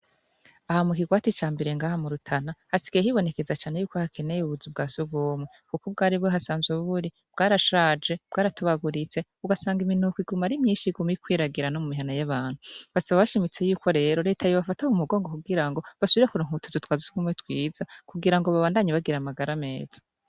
Aha mukirwati cambere ngaha mu rutana hasigaye hibonekeza cane ko hakenewe ubuzu bwasugumwe kuko ubwari buhasanzwe buri bwarashaje bwaratobaguritse ugasanga iminuko iguma ari myinshi iguma ikwiragira nomumihana yabantu basaba bashimitse yuko rero reta yobafata mumugongo kugirango basubire kuronka utuzu twasugumwe twiza kugira ngo babandanye bagira amagara meza